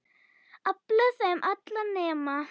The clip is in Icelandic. Afla þeirra allra nema